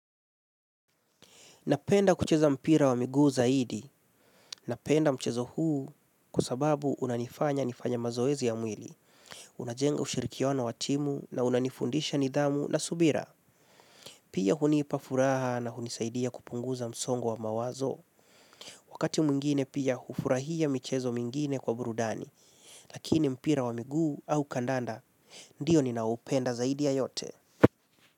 Napenda kucheza mpira wa miguu zaidi. Napenda mchezo huu kwa sababu unanifanya nifanye mazoezi ya mwili. Unajenga ushirikiana wa timu na unanifundisha nidhamu na subira. Pia hunipa furaha na hunisaidia kupunguza msongo wa mawazo. Wakati mwingine pia hufurahia michezo mwingine kwa burudani. Lakini mpira wa miguu au kandanda, ndio nina upenda zaidi ya yote.